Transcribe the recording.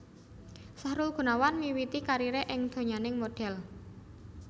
Sahrul Gunawan miwiti kariré ing donyaning modhel